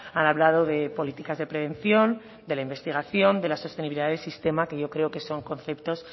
han hablado de políticas de prevención de la investigación de la sostenibilidad del sistema que yo creo son conceptos